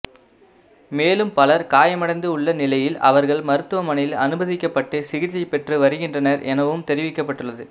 மேலும் பலர் காயமடைந்து உள்ள நிலையில் அவர்கள் மருத்துவமனையில் அனுமதிக்க்பபட்டு சிகிச்சை பெற்று வருகின்றனர் எனவும் தெரிவிக்கப்பட்டுள்ளது